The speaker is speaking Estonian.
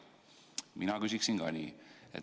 Mina küsin ka nii.